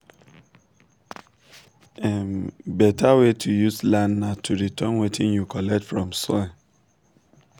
beta way to use land na to return wetin you collect from soil.